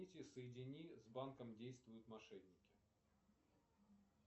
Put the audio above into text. соедини с банком действуют мошенники